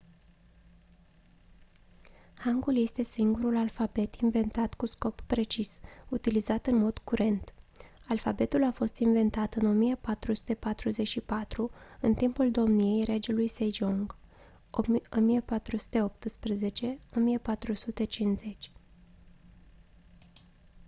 hangul este singurul alfabet inventat cu scop precis utilizat în mod curent. alfabetul a fost inventat în 1444 în timpul domniei regelui sejong 1418 – 1450